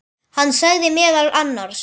Hann sagði meðal annars